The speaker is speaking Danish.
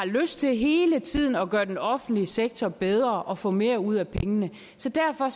lyst til hele tiden at gøre den offentlige sektor bedre og få mere ud af pengene så derfor